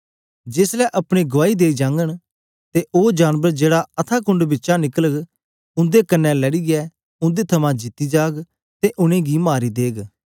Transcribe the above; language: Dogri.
जेस ले अपने गुआई देई जांघन ते ओ जानबर जेड़ा अथाह कुंड बिचा निकलग उंदे कन्ने लड़ीयै उंदे थमां जीती जाग ते उनेंगी मारी देग